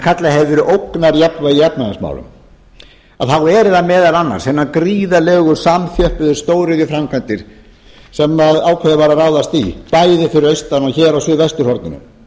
hefur verið ógnarjafnvægi í efnahagsmálum þá eru það meðal annars hinar gríðarlegu samþjöppuðu stóriðjuframkvæmdir sem ákveðið var að ráðast í bæði fyrir austan og hér á suðvesturhorninu